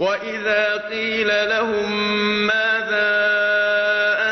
وَإِذَا قِيلَ لَهُم مَّاذَا